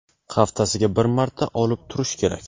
haftasiga bir marta olib turish kerak.